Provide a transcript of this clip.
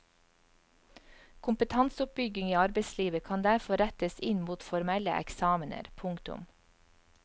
Kompetanseoppbygging i arbeidslivet kan derfor rettes inn mot formelle eksamener. punktum